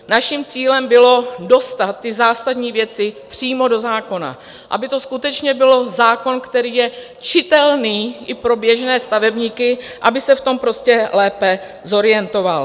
Naším cílem bylo dostat ty zásadní věci přímo do zákona, aby to skutečně byl zákon, který je čitelný i pro běžné stavebníky, aby se v tom prostě lépe zorientovali.